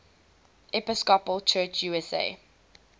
episcopal church usa